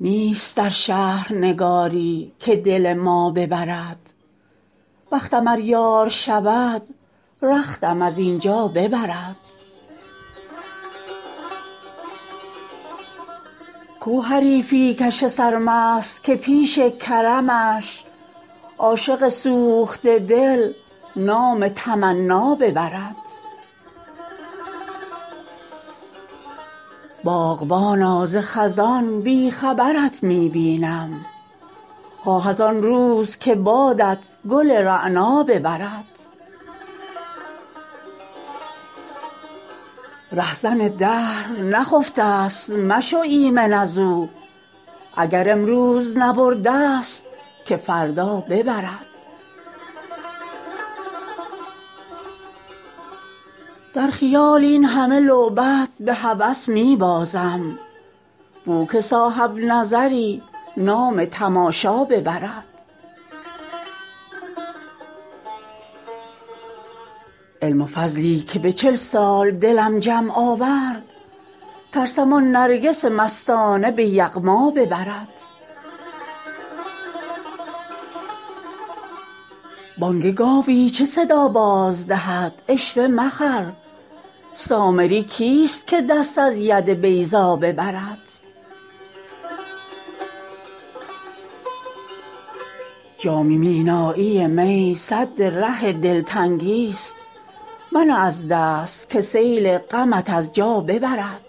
نیست در شهر نگاری که دل ما ببرد بختم ار یار شود رختم از این جا ببرد کو حریفی کش سرمست که پیش کرمش عاشق سوخته دل نام تمنا ببرد باغبانا ز خزان بی خبرت می بینم آه از آن روز که بادت گل رعنا ببرد رهزن دهر نخفته ست مشو ایمن از او اگر امروز نبرده ست که فردا ببرد در خیال این همه لعبت به هوس می بازم بو که صاحب نظری نام تماشا ببرد علم و فضلی که به چل سال دلم جمع آورد ترسم آن نرگس مستانه به یغما ببرد بانگ گاوی چه صدا باز دهد عشوه مخر سامری کیست که دست از ید بیضا ببرد جام مینایی می سد ره تنگ دلی ست منه از دست که سیل غمت از جا ببرد